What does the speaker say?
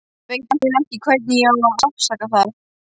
Veit eiginlega ekki hvernig ég á að afsaka það.